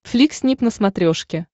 флик снип на смотрешке